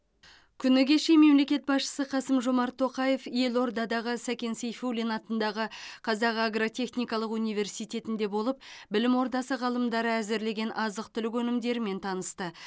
күні кеше мемлекет басшысы қасым жомарт тоқаев елордадағы сәкен сейфуллин атындағы қазақ агротехникалық университетінде болып білім ордасы ғалымдары әзірлеген азық түлік өнімдерімен танысты